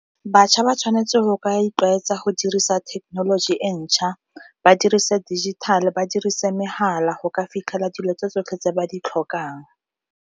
Batjha ba tshwanetse go ka itlwaetsa go dirisa thekenoloji e ntšha, ba dirise digital-e, ba dirise megala go ka fitlhela dilo tse tsotlhe tse ba di tlhokang.